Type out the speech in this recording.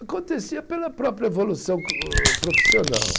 Acontecia pela própria evolução profissional.